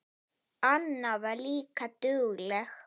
Anna var líka dugleg.